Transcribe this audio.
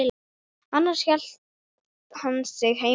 Annars hélt hann sig heima.